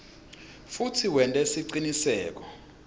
futsi wente siciniseko